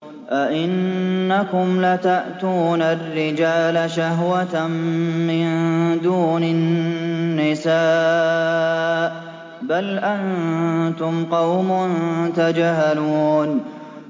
أَئِنَّكُمْ لَتَأْتُونَ الرِّجَالَ شَهْوَةً مِّن دُونِ النِّسَاءِ ۚ بَلْ أَنتُمْ قَوْمٌ تَجْهَلُونَ